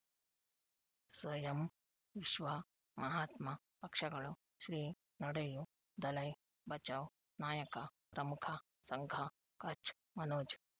ಸ್ವಯಂ ವಿಶ್ವ ಮಹಾತ್ಮ ಪಕ್ಷಗಳು ಶ್ರೀ ನಡೆಯೂ ದಲೈ ಬಚೌ ನಾಯಕ ಪ್ರಮುಖ ಸಂಘ ಕಚ್ ಮನೋಜ್